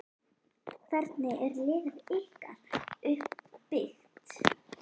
Hvernig er liðið ykkar uppbyggt?